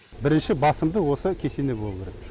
бірінші басымды осы кесене болуы керек